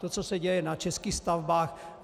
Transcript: To, co se děje na českých stavbách...